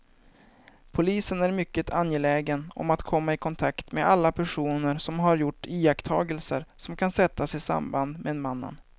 Polisen är mycket angelägen om att komma i kontakt med alla personer som har gjort iakttagelser som kan sättas i samband med mannen.